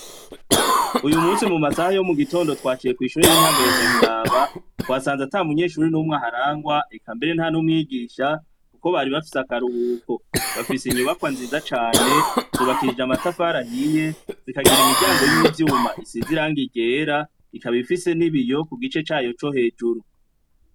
Uyu musi mu masaha yo mugitondo twaciye kw'ishure y'intango ya nyabiraba, twasanze ata munyeshuri n'umwe aharangwa, eka mbere nta n'umwigisha, kuko bari bafse akaruhuko bafise inyubakwa nziza cane, zubakishije amatafari ahiye zikagira imiryango y'ivyuma isize irangi ryera, ikabifise n'ibiyo ku gice cayo co hejuru.